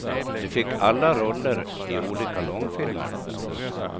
De fick alla roller i olika långfilmer.